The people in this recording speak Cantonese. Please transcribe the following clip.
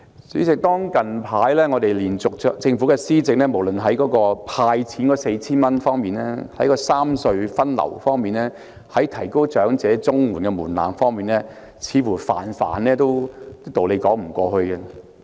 主席，近來政府的各項措施，無論是"派錢 "4,000 元，三隧分流方案，或提高長者綜援的門檻等，似乎都在道理上說不過去。